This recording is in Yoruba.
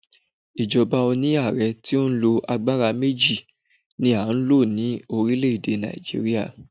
Ìjọba oni ààrẹ ti o ní àgbàrá méjì ni a n lo ni orílẹ̀ èdè Nàìjíríà